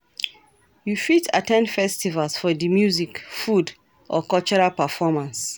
You fit at ten d festivals for di music, food or cultural performance.